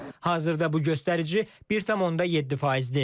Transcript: Hazırda bu göstərici 1,7 faizdir.